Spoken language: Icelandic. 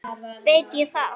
veit ég það?